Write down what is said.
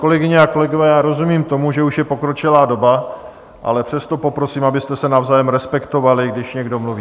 Kolegyně a kolegové, já rozumím tomu, že už je pokročilá doba, ale přesto poprosím, abyste se navzájem respektovali, když někdo mluví.